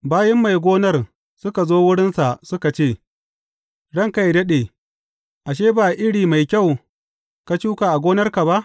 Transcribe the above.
Bayin mai gonar suka zo wurinsa suka ce, Ranka yă daɗe, ashe, ba iri mai kyau ka shuka a gonarka ba?